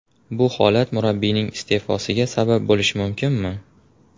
Bu holat murabbiyning iste’fosiga sabab bo‘lishi mumkinmi?